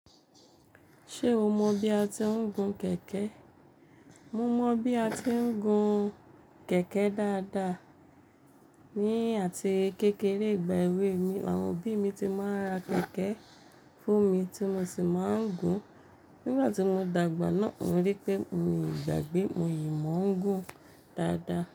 Ṣé o mọ bí a ti ń gun kẹ̀kẹ́? Mo mọ bí a ti ń gun kẹ̀kẹ́ dáadáa. Ni àti kékeré ìgbà èwe mi, àwọn òbí mi ti máa ń ra kẹ̀kẹ́ fún mi tí mo sì máa ń gun. Nígbà tí mo dàgbà náà mo rí pé mi ò gbàgbé, mo yìí mó ń gun dáadáa.